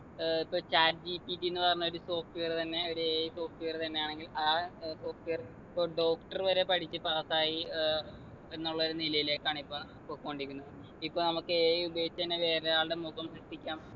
ഏർ ഇപ്പൊ ChatGPT ന്ന് പറഞ്ഞൊരു software തന്നെ ഒരു AIsoftware തന്നെ ആണെങ്കിലും ആ ഏർ software ഇപ്പൊ doctor വരെ പഠിച്ച് pass ആയി ഏർ എന്നുള്ളൊരു നിലയിലേക്കാണ് ഇപ്പൊ പൊക്കോണ്ടിരിക്കുന്നെ ഇപ്പൊ നമുക്ക് AI ഉപയോഗിച്ച് എന്നെ വേറൊരാളുടെ മുഖം സൃഷ്ടിക്കാം